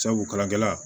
Sabu kalankɛla